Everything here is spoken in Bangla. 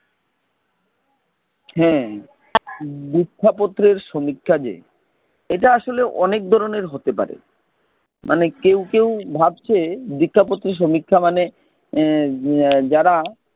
হ্যাঁ, দীক্ষা পত্রের সমীক্ষা যে, এটা অনেক ধরণের হতে পারে। কেউ কেউ ভাবছে, দীক্ষা পত্রের সমীক্ষা মানে যারা,